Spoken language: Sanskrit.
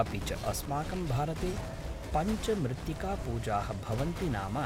अपि च अस्माकं भारते पञ्चमृत्तिकापूजाः भवन्ति नाम